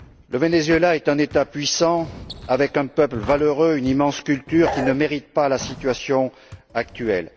Le Venezuela est un État puissant, avec un peuple valeureux et une immense culture, qui ne mérite pas la situation actuelle.